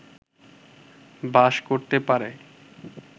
বাস করতে পারে